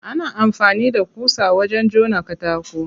Ana amfani da ƙusa wajen jona katako.